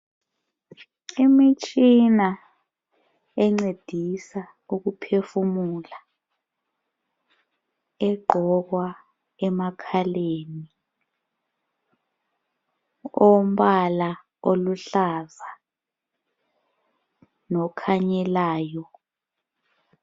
Imitshina encedisa ukuphefumula egqokwa emakhaleni. Ombala oluluhlaza lokhunyelayo.